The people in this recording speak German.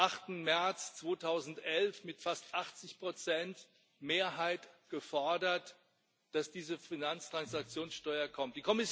8. März 2011 mit fast 80 Mehrheit gefordert, dass diese Finanztransaktionssteuer kommt.